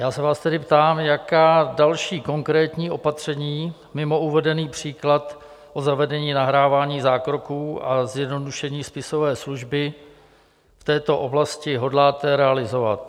Já se vás tedy ptám, jaká další konkrétní opatření mimo uvedený příklad o zavedení nahrávání zákroků a zjednodušení spisové služby v této oblasti hodláte realizovat?